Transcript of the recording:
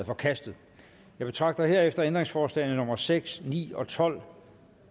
forkastet jeg betragter herefter ændringsforslagene nummer seks ni og tolv